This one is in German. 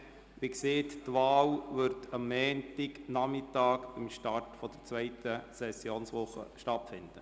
Wie gesagt wird die Wahl am Montagnachmittag zu Beginn der zweiten Sessionswoche stattfinden.